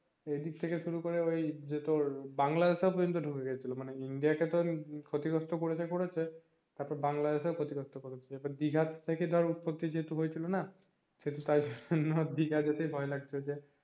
এইদিক থেকে শুরু করে ওই যে তোর বাংলাদেশও পর্জন্ত ঢুকে গেছিলো মানে India কে তো ক্ষতিগ্রস্ত করেছে করেছে তারপরে বাংলাদেশ শেও ক্ষতিগ্রস্ত করেছে তারপর দিঘা থেকে ধর উৎপত্তি যেহেতু হয়েছিল না সেহেতু তাইজন্য দিঘা যেতে ভয় লাগছে যে